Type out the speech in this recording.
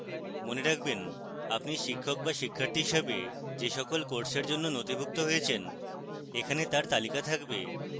মনে রাখবেন আপনি শিক্ষক be শিক্ষার্থী হিসাবে যে সকল courses জন্য নথিভুক্ত হয়েছেন এখানে তার তালিকা থাকবে